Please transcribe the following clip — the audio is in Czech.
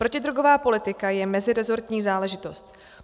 Protidrogová politika je meziresortní záležitost.